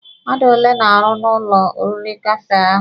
Mmadụ ole na-arụ n'ụlọ oriri Kafee ahụ?